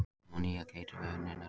Ammoníak- Eitrað við innöndun.